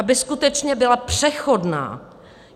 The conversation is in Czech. Aby skutečně byla přechodná!